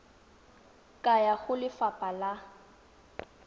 ka ya go lefapha la